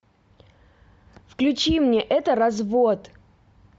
включи мне это развод